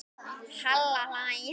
Halla hlær.